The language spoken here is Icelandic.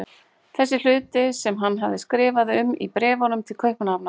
Þessa hluti sem hann hafði skrifað um í bréfunum til Kaupmannahafnar.